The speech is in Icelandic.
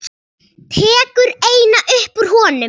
Tekur eina upp úr honum.